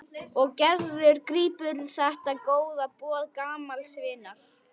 Og Gerður grípur þetta góða boð gamals vinar.